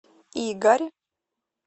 игорь